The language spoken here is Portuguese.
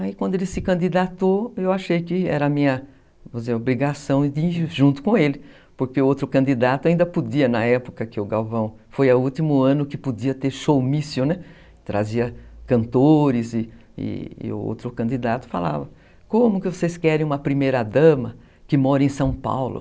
Aí quando ele se candidatou, eu achei que era minha obrigação ir junto com ele, porque outro candidato ainda podia, na época que o Galvão foi ao último ano, que podia ter showmício, trazia cantores e e o outro candidato falava, como que vocês querem uma primeira dama que mora em São Paulo?